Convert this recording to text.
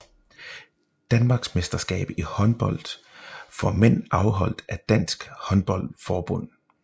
Danmarksmesterskab i håndbold for mænd afholdt af Dansk Håndbold Forbund